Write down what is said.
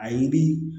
A ye di